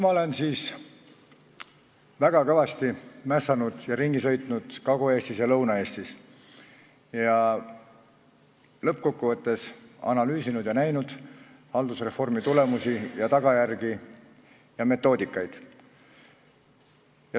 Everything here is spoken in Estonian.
Ma olen nüüdseks väga kõvasti mässanud, Kagu-Eestis ja Lõuna-Eestis ringi sõitnud ning lõppkokkuvõttes analüüsinud ja näinud haldusreformi tulemusi, tagajärgi ja metoodikaid.